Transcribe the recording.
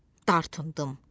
Dartındım.